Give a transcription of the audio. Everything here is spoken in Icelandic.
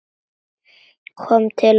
Komin til að vera?